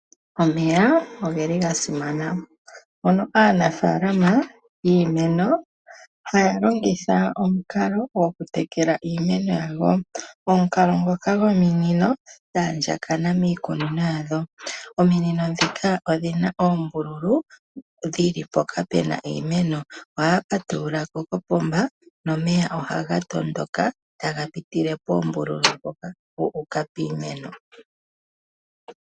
Omeya oga simana. Aanafalama yiimeno ohaya longitha omukalo gokutekela iimeno yawo. Omukalo ngoka gominino dha andjakana miikunino yawo. Ominino ndhika odhi na oombululu dhi li mpoka pu na iimeno. Ohaya patulula kopomba nomeya ohaga tondoka taga pitile poombululu mpoka gu uka piimeno.